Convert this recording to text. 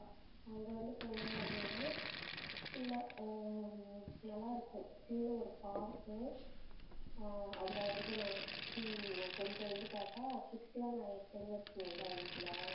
அங்க வந்து போனீங்க அப்டினா உள்ள அஹ் நல்லா இருக்கும் சின்ன ஒரு park அஹ் அதுல வந்து நி~ சும்~ கொஞ்சம் வந்து பாத்தா kids லாம் நிறைய பிள்ளைங்க இருக்கும்ல வீட்ல